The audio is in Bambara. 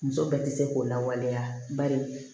Muso bɛɛ tɛ se k'o lawaleya bari